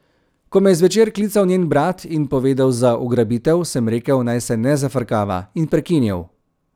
Ko me je zvečer klical njen brat in povedal za ugrabitev, sem rekel, naj se ne zafrkava, in prekinil.